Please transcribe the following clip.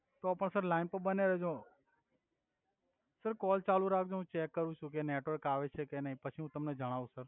તો પણ sir line પર બન્યા રેજો સર કોલ ચાલુ રાખ્જો હુ ચેક કરુ છુ ક નેટવર્ક આવે છે કે નઈ પછી હુ તમને જણાવુ સર